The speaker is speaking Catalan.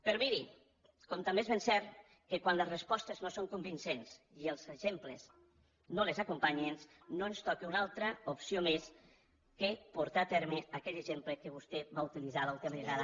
però miri com també és ben cert que quan les respostes no són convincents i els exemples no les acompanyen no ens toca cap més opció que portar a terme aquell exemple que vostè va utilitzar l’última vegada